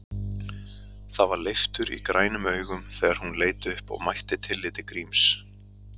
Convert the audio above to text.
Það var leiftur í grænum augum þegar hún leit upp og mætti tilliti Gríms.